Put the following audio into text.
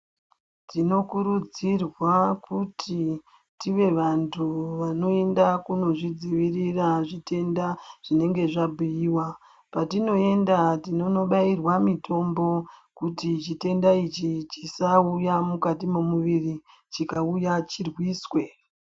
Tinokurudzirwa kuti tive vantu vanoenda kunozvidzivirira zvitenda zvinenge zvabhuiwa. Patinoenda tinonobairwa mitombo kuti chitenda ichi chisauya mukati memuviri chikauya chirwiswe.